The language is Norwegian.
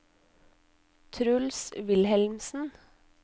Truls Wilhelmsen